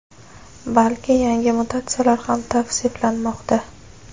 balki yangi mutatsiyalar ham tavsiflanmoqda.